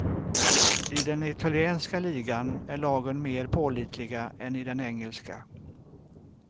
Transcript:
I den italienska ligan är lagen mer pålitliga än i den engelska.